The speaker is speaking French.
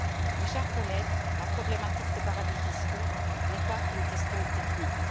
Mes chers collègues, la problématique des paradis fiscaux n'est pas qu'une question technique.